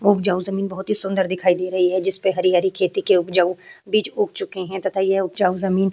उपजाऊ जमीं बहुत ही सुन्दर दिखाई दे रही है जिसपे हरी-हरी खेती की उपजाऊ बीज उग चुके है तथा ये उपजाऊ जमीं --